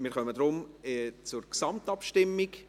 Wir kommen deshalb zur Gesamtabstimmung.